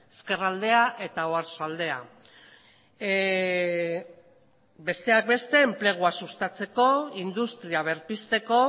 ezkerraldea eta oarsoaldea besteak beste enplegua sustatzeko industria berpizteko